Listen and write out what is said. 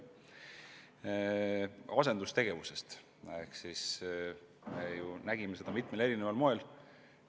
Ta rääkis asendustegevusest, mida me nägime mitmel erineval kujul.